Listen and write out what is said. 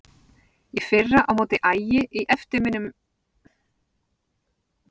Í fyrra á móti Ægi í eftirminnilegum leik Hvernig finnst þér Fótbolti.net?